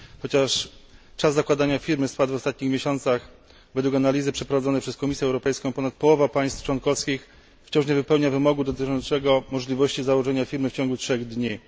Chociaż czas zakładania firmy spadł w ostatnich miesiącach, według analizy przeprowadzonej przez Komisję Europejską ponad połowa państw członkowskich wciąż nie spełnia wymogu dotyczącego możliwości założenia firmy w ciągu trzech dni.